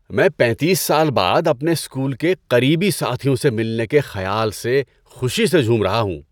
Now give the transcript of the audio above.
میں پینتیس سال بعد اپنے اسکول کے قریبی ساتھیوں سے ملنے کے خیال سے خوشی سے جھوم رہا ہوں۔